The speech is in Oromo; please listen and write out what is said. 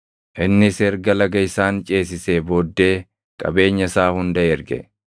Innis erga laga isaan ceesisee booddee qabeenya isaa hunda erge.